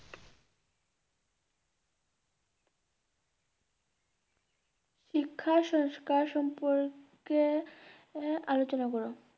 শিক্ষা সংস্কার সম্পর্কে আলোচনা আহ করুন।